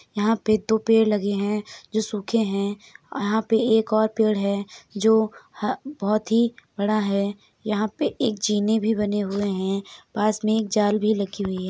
यहाँ पे दो पेड़ लगे हैं जो सूखे है अ यहाँ पे एक और पेड़ है जो ह बहोत ही बड़ा है। यहाँ पे एक जीने भी बने हुए हैं पास में एक जाल भी लगी हुई है।